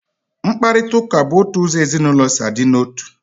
Mkparitauka bụ otu ụzọ ezinaụlọ si a dị n'otu